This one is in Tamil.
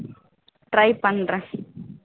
try பண்றேன்